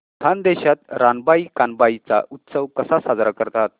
खानदेशात रानबाई कानबाई चा उत्सव कसा साजरा करतात